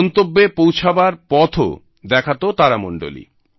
গন্তব্যে পৌঁছবার পথও দেখাত তারামণ্ডলী